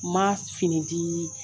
Ma fini dii